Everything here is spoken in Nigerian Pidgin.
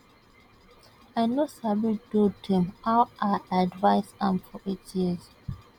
i no sabi do dem how i advise am for eight years